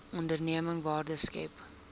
onderneming waarde skep